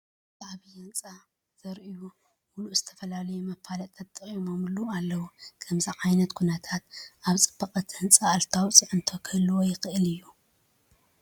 እዚ ዓብይ ህንፃ ዙርይኡ ሙሉእ ዝተፈላለዩ መፋለጥታት ተጠቂዖሙሉ ኣለዉ፡፡ ከምዚ ዓይነት ኩነታት ኣብቲ ፅባቐ እቲ ህንፃ ኣሉታዊ ፅዕንቶ ክህልዎ ይኽእል ዶ?